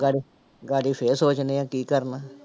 ਫਿਰ ਸੋਚਦੇ ਜਾਂਦੇ ਹਾਂ ਕੀ ਕਰਨਾ।